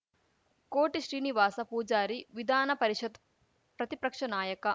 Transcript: ಕೋಟಿ ಶ್ರೀನಿವಾಸ ಪೂಜಾರಿ ವಿಧಾನ ಪರಿಷತ್‌ ಪ್ರತಿಪ್ರಕ್ಷ ನಾಯಕ